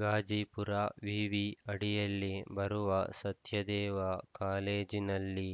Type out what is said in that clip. ಗಾಜಿಪುರ ವಿವಿ ಅಡಿಯಲ್ಲಿ ಬರುವ ಸತ್ಯದೇವ ಕಾಲೇಜಿನಲ್ಲಿ